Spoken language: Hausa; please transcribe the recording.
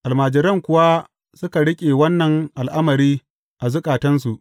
Almajiran kuwa suka riƙe wannan al’amari a zukatansu.